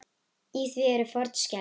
Í því eru fornskeljar.